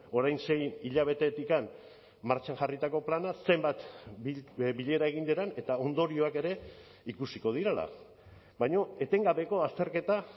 orain sei hilabetetik martxan jarritako plana zenbat bilera egin diren eta ondorioak ere ikusiko direla baina etengabeko azterketa